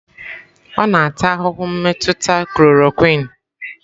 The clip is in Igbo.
Ọ na-ata ahụhụ mmetụta chloroquine.